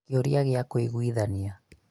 kĩũria gĩa kũĩguithania